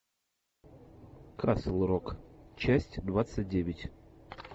касл рок часть двадцать девять